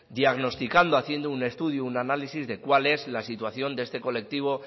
diagnosticando haciendo un análisis de cuál es la situación de este colectivo